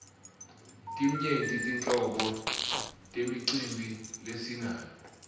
timyenti tinhlobo temicimbi lesinayo